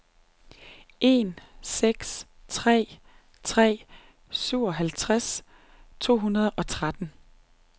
en seks tre tre syvoghalvtreds to hundrede og tretten